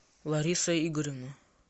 лариса игоревна